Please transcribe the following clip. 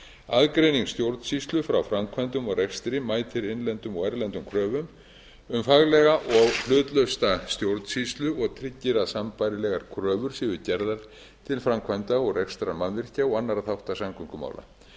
aðgreining stjórnsýslu frá framkvæmdum og rekstri mætir innlendum og erlendum kröfum um faglega og hlutlausa stjórnsýslu og tryggir að sambærilegar kröfur séu gerðar til framkvæmda og rekstrar mannvirkja og annarra þátta samgöngumála